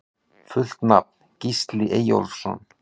Fullt nafn: Gísli Eyjólfsson